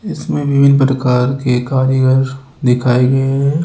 इसमें विभिन्न प्रकार के कारीगर दिखाए गए हैं।